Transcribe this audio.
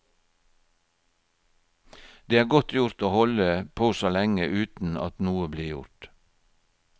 Det er godt gjort å holde på så lenge uten at noe blir gjort.